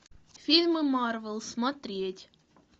фильмы марвел смотреть